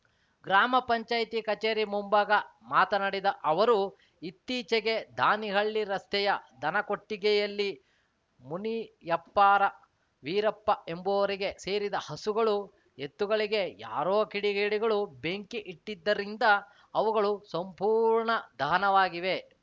ಗ್ರಾಮ ಪಂಚಾಯತಿ ಕಚೇರಿ ಮುಂಭಾಗ ಮಾತನಾಡಿದ ಅವರು ಇತ್ತೀಚೆಗೆ ದಾನಿಹಳ್ಳಿ ರಸ್ತೆಯ ದನಕೊಟ್ಟಿಗೆಯಲ್ಲಿ ಮುನಿಯಪ್ಪಾರ ವೀರಪ್ಪ ಎಂಬುವವರಿಗೆ ಸೇರಿದ ಹಸುಗಳು ಎತ್ತುಗಳಿಗೆ ಯಾರೋ ಕಿಡಿಗೇಡಿಗಳು ಬೆಂಕಿ ಇಟ್ಟಿದ್ದರಿಂದ ಅವುಗಳು ಸಂಪೂರ್ಣ ದಹನವಾಗಿವೆ